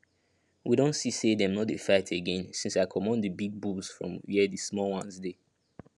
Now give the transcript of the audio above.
we don see say them no dey fight again since i comot the big bulls from where the small ones dey